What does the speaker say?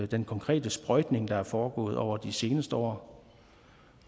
den konkrete sprøjtning der er foregået over de seneste år